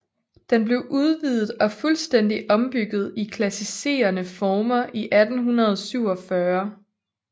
Den blev udvidet og fuldstændigt ombygget i klassicerende former i 1847